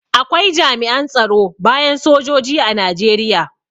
Akwai jami'an tsaro bayan sojoji a Najeriya.